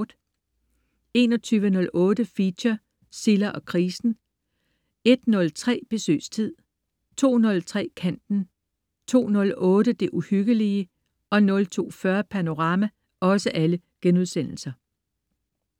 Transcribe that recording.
21.08 Feature: Silla og krisen* 01.03 Besøgstid* 02.03 Kanten* 02.08 Det Uhyggelige* 02.40 Panorama*